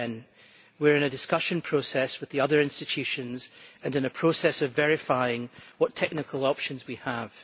Since then, we have been in a discussion process with the other institutions and in a process of verifying what technical options we have.